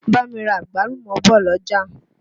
Bá mi ra àgbálùmọ́ bọ̀ l'ọ́jà.